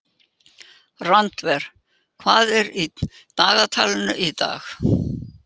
Randver, hvað er í dagatalinu í dag?